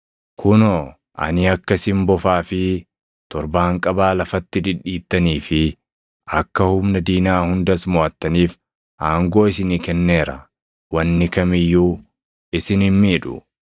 Kunoo, ani akka isin bofaa fi torbaanqabaa lafatti dhidhiittanii fi akka humna diinaa hundas moʼattaniif aangoo isinii kenneera; wanni kam iyyuu isin hin miidhu.